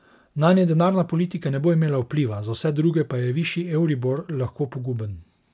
Nanje denarna politika ne bo imela vpliva, za vse druge pa je višji euribor lahko poguben.